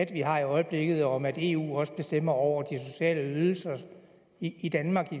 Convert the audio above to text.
vi har i øjeblikket om at eu også bestemmer over de sociale ydelser i danmark